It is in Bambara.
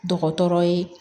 Dɔgɔtɔrɔ ye